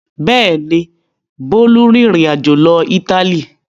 Bẹ́ẹ̀ ni, Bólú rìnrìn-àjò lọ Ítálì.